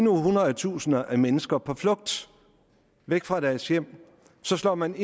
hundrede tusinder af mennesker på flugt væk fra deres hjem så slår man